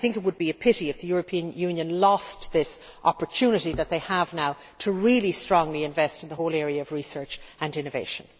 I think it would be a pity if the European Union lost this opportunity that it has now to really strongly invest in the whole area of research and innovation.